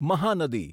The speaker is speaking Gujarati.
મહાનદી